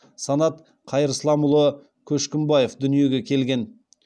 санат қайырсламұлы көшкімбаев дүниеге келген